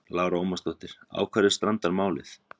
Lára Ómarsdóttir: Á hverju strandar málið?